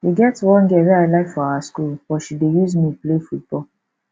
e get one girl wey i like for our school but she dey use me play football